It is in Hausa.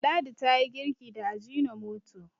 ladi ta yi girki da ajinomoto